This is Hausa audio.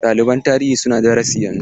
Ɗaliban tarihi suna darasi yanzu.